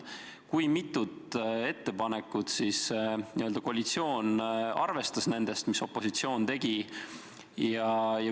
Kui mitut ettepanekut koalitsioon arvestas nendest, mis opositsioon tegi?